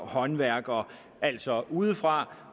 håndværkere altså udefra